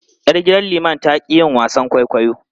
Yar gidan liman ta ƙi yin wasan kwaikwayo.